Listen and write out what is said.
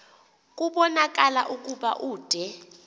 kubonakala ukuba ude